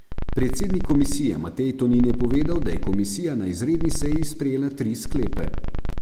Predsednik komisije Matej Tonin je povedal, da je komisija na izredni seji sprejela tri sklepe.